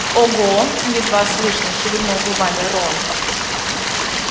ого едва слышно шевельнул губами рон